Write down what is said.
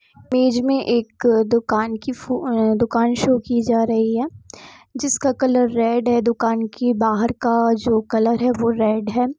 बीज में एक दुकान की फ़ो-- दूकान शो की जा रही है जिसका कलर रेड है दुकान की बहार का जो कलर है वो रेड है।